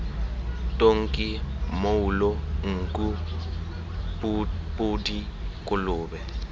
tonki mmoulo nku podi kolobe